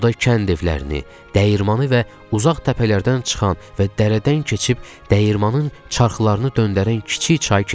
Yolda kənd evlərini, dəyirmanı və uzaq təpələrdən çıxan və dərədən keçib dəyirmanı çarxlarını döndərən kiçik çay keçdik.